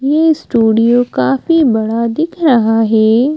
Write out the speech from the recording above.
ये स्टूडियो काफी बड़ा दिख रहा है।